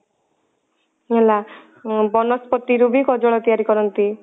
ହେଲା ଉଁ ବନସ୍ପତି ରୁ ବି କଜଳ ତିଆରି କରନ୍ତି।